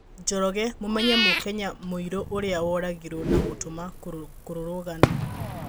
Njoroge, Mũmenye mũ-Kenya mũirũ ũrĩa woragirwo na gũtuma kũrũrũgano